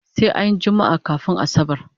Sai anyi jummaa kafun asabar